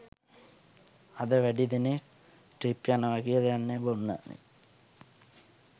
අද වැඩි දෙනෙක් ට්‍රිප් යනව කියල යන්නෙ බොන්නනෙ